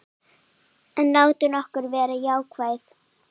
En látum okkur vera jákvæð.